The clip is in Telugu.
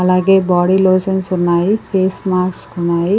అలాగే బాడీ లోషన్స్ ఉన్నాయి ఫేస్ మాస్క్ ఉన్నాయి.